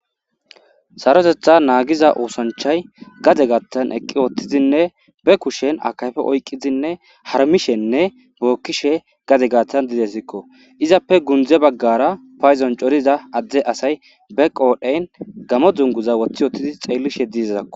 Sarotetha naagiza uusanchay gade gattan eqqi woottizinne be kushen akayfe oyqqizinne harmishenne bookkishe gade gaaththan didesikko izappe gundze baggara payzon coriza adde asay be qoodheyn gamo dzunguza woththi wottidi xeellishe diizizakko.